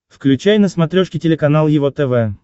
включай на смотрешке телеканал его тв